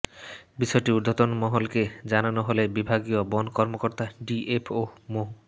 বিষয়টি ঊর্ধ্বতন মহলকে জানানো হলে বিভাগীয় বন কর্মকর্তা ডিএফও মো